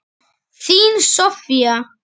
Þín Soffía.